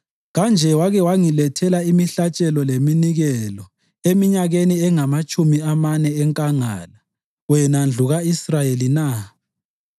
Kanje wake wangilethela imihlatshelo leminikelo eminyakeni engamatshumi amane enkangala, wena ndlu ka-Israyeli na?